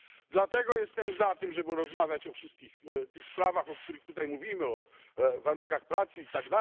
Dlatego jestem za tym, żeby rozmawiać o wszystkich tych sprawach, o których tutaj mówimy o warunkach pracy itd.